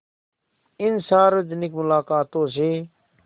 इन सार्वजनिक मुलाक़ातों से